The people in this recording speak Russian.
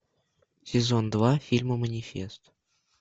сезон два фильма манифест